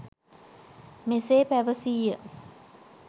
මෙසේ පැවසීය.